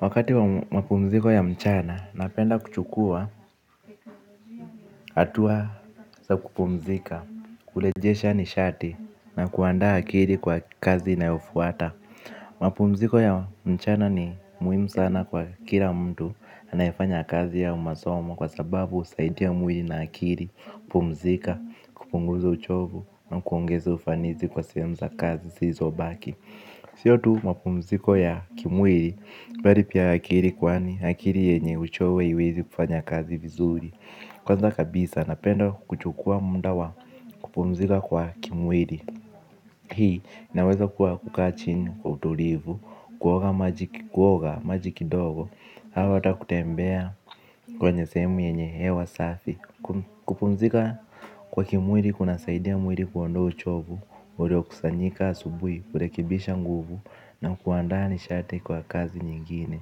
Wakati wa mapumziko ya mchana napenda kuchukua hatua za kupumzika, kurejesha nishati na kuandaa akili kwa kazi inayofuata. Mapumziko ya mchana ni muhimu sana kwa kila mtu anayefanya kazi au masomo kwa sababu husaidia mwili na akili. Kupumzika, kupunguza uchovu na kuongeza ufanisi kwa sehemu za kazi zilizobaki. Sio tu mapumziko ya kimwili bali pia akili kwani akili yenye uchovu haiwezi kufanya kazi vizuri. Kwanza kabisa napenda kuchukua muda wa kupumzika kwa kimwiri. Hii naweza kuwa kukaa chini kwa utulivu, kuoga maji kidogo au hata kutembea kwenye sehemu yenye hewa safi. Kupumzika kwa kimwiri kunasaidia mwiri kuondoa uchovu uliokusanyika asubuhi kurekebisha nguvu na kuandaa nishati kwa kazi nyingine.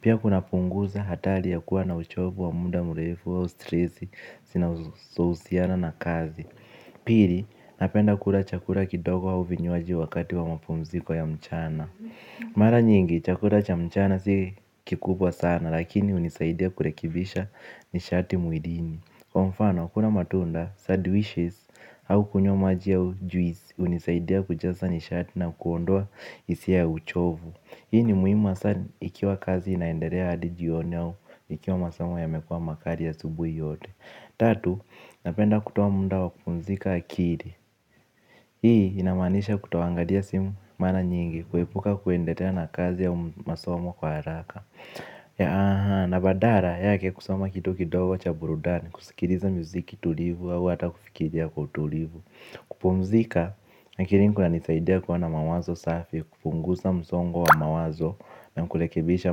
Pia kunapunguza hatari ya kuwa na uchovu wa muda mrefu au stresi zinazohusiana na kazi. Pili napenda kula chakula kidogo au vinywaji wakati wa mapumziko ya mchana. Mara nyingi chakura cha mchana si kikubwa sana lakini hunisaidia kurekebisha nishati mwilini. Kwa mfano, kula matunda sandwiches au kunywa maji au juisi hunisaidia kujaza nishati na kuondoa hisia ya uchovu. Hii ni muhimu hasa ikiwa kazi inaendelea hadi jioni au ikiwa masomo yamekuwa makali asubuhi yote. Tatu, napenda kutoa muda wa kupumzika akiri. Hii inamaanisha kutoangalia simu mara nyingi kuepuka kuendelea na kazi au masomo kwa haraka. Na badara yake kusoma kitu kidogo cha burudani, kusikiliza muziki tulivu au hata kufikiria kwa utulivu. Kupumzika, na kirinku inanisaidia kuona mawazo safi, kupunguza msongo wa mawazo. Na kurekebisha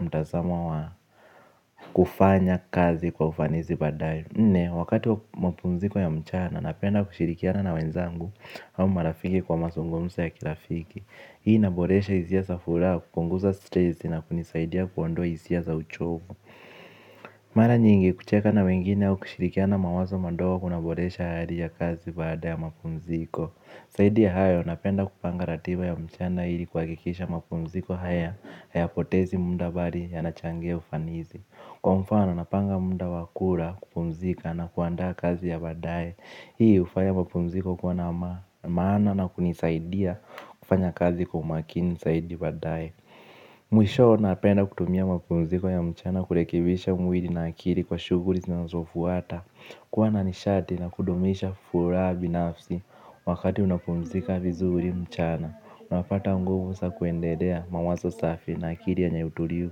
mtazamo wa kufanya kazi kwa ufanisi baadae. Nne, wakati wa mapumziko ya mchana, napenda kushirikiana na wenzangu au marafiki kwa mazungumzo ya kirafiki. Hii inaboresha hisia za furaha kupunguza stressi na kunisaidia kuondoa hisia za uchovu. Mara nyingi kucheka na wengine au kushirikiana mawazo madogo kunaboresha hali ya kazi baada ya mapumziko zaidi ya hayo napenda kupanga ratiba ya mchana hili kwa kuhakikisha mapumziko haya hayapotezi muda bali ya nachangia ufanisi. Kwa mfano napanga muda wakula kupumzika na kuandaa kazi ya badae. Hii hufanya mwapumziko kuwa na amani maana na kunisaidia kufanya kazi kwa makini zaidi baadae. Mwisho napenda kutumia mapumziko ya mchana kurekebisha mwili na akili kwa shughuli Zinazofuata. Kuwa na nishati na kudumisha furaha binafsi wakati unapumzika vizuri mchana. Unapata nguvu za kuendelea mawazo safi na akili yenye utulivu.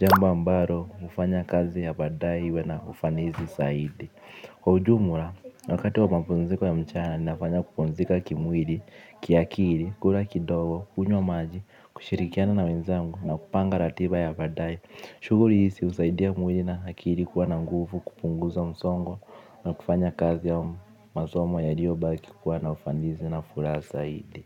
Jambo ambalo hufanya kazi ya baadae iwe na ufanisi zaidi. Kwa ujumla, wakati wa mapumziko ya mchana ni nafanya kupumzika kimwili, kiakili, kula kidogo, kunywa maji, kushirikiana na wenzangu na kupanga ratiba ya baadae. Shughli hizi husaidia mwili na akili kuwa na nguvu, kupunguza msongo na kufanya kazi ya masomo yaliyo baki kuwa na ufanisi na furaha zaidi.